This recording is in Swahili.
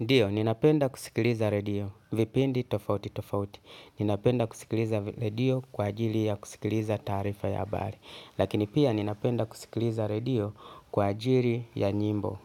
Ndiyo, ninapenda kusikiliza radio, vipindi tofauti tofauti, ninapenda kusikiliza radio kwa ajili ya kusikiliza taarifa ya habari, lakini pia ninapenda kusikiliza radio kwa ajili ya nyimbo,